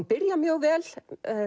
byrja mjög vel